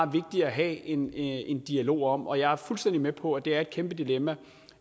vigtigt at have en en dialog om og jeg er fuldstændig med på at det er et kæmpe dilemma